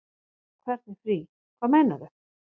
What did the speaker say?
Hvernig frí. hvað meinarðu?